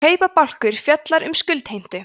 kaupabálkur fjallar um skuldheimtu